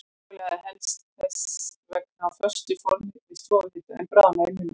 Súkkulaði helst þess vegna á föstu formi við stofuhita, en bráðnar í munni.